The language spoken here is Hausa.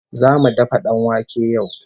Zamu dafa danwake yau